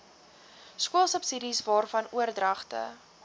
skoolsubsidies waarvan oordragte